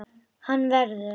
Hann verður.